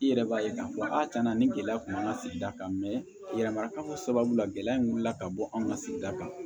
I yɛrɛ b'a ye k'a fɔ a cɛna ni gɛlɛya kun b'an ka sigida kan yɛrɛ ma ka fɔ sababu la gɛlɛya min wulila ka bɔ an ka sigida kan